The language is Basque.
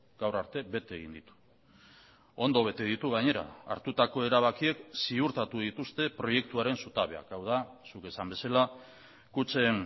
gaur arte bete egin ditu ondo bete ditu gainera hartutako erabakiek ziurtatu dituzte proiektuaren zutabeak hau da zuk esan bezala kutxen